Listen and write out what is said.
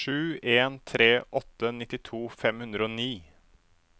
sju en tre åtte nittito fem hundre og ni